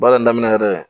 Baara in daminɛ yɛrɛ